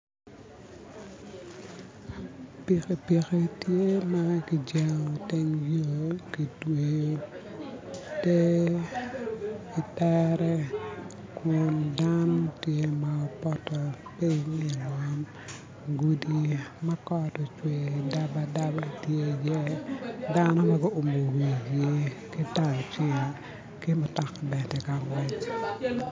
Pikipiki tye ma ki jengo i teng yo, kitweyo tee i tere kun dano tye ma opoto pyiny i ngom, gudi ma kot ocwer dabadaba tye iye dano ma guwumu wigi ki ki mutoka bene ka ngec